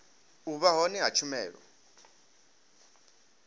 u vha hone ha tshumelo